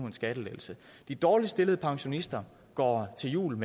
en skattelettelse de dårligt stillede pensionister går julen